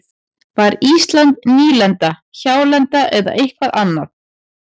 Var Ísland nýlenda, hjálenda eða eitthvað annað?